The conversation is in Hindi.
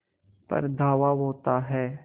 पर धावा होता है